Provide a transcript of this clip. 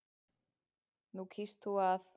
Nú kýst þú að.